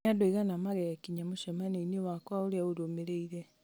nĩ andũ aigana megwĩnyia mũcemanio-inĩ wakwa ũrĩa ũrũmĩrĩire